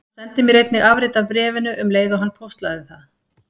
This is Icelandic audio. Hann sendi mér einnig afrit af bréfinu um leið og hann póstlagði það.